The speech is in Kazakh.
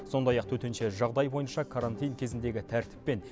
сондай ақ төтенше жағдай бойынша карантин кезіндегі тәртіп пен